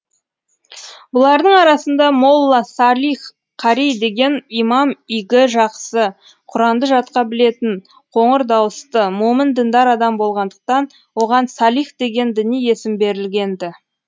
бұлардың арасында молла салих қари деген имам игі жақсы құранды жатқа білетін қоңыр дауысты момын діндар адам болғандықтан оған салих деген діни есім берілген ді